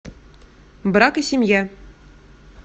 брак и семья